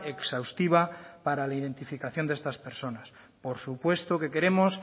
exhaustiva para la identificación de estas personas por supuesto que queremos